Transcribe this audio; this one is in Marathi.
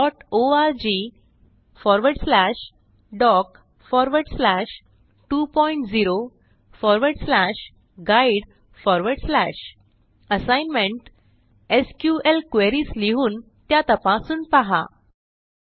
httpwwwhsqldborgdoc20guide assignment एसक्यूएल क्वेरीज लिहून त्या तपासून पहा 1